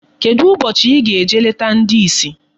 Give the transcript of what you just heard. Kedụ ụbọchị ị ga-eje leta ndi isi?